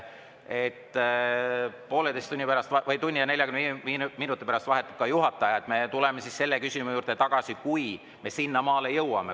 Poolteise tunni pärast, tunni ja 45 minuti pärast vahetub juhataja, me tuleme selle küsimuse juurde tagasi, kui me sinnamaale jõuame.